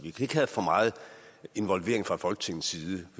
og for meget involvering fra folketingets side